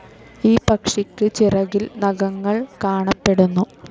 ഈ പക്ഷിക്ക് ചിറകിൽ നഖങ്ങൾ കാണപ്പെടുന്നു.